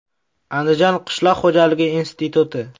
Andijon qishloq xo‘jalik instituti.